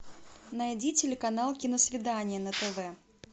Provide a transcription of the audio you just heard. найди телеканал киносвидание на тв